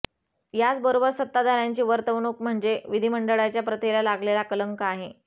याचबरोबर सत्ताधाऱ्यांची वर्तवणूक म्हणजे विधिमंडळाच्या प्रथेला लागलेला कलंक आहे